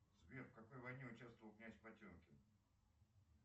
сбер в какой войне участвовал князь потемкин